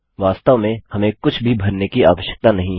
वास्तव में हमें कुछ भी भरने की आवश्यकता नहीं है